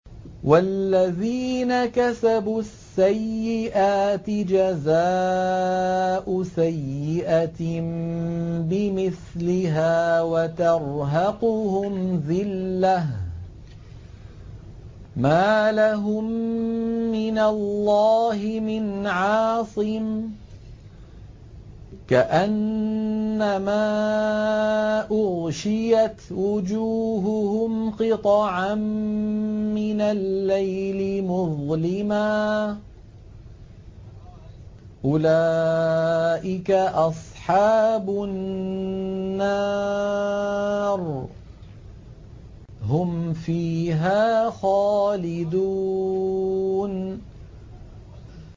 وَالَّذِينَ كَسَبُوا السَّيِّئَاتِ جَزَاءُ سَيِّئَةٍ بِمِثْلِهَا وَتَرْهَقُهُمْ ذِلَّةٌ ۖ مَّا لَهُم مِّنَ اللَّهِ مِنْ عَاصِمٍ ۖ كَأَنَّمَا أُغْشِيَتْ وُجُوهُهُمْ قِطَعًا مِّنَ اللَّيْلِ مُظْلِمًا ۚ أُولَٰئِكَ أَصْحَابُ النَّارِ ۖ هُمْ فِيهَا خَالِدُونَ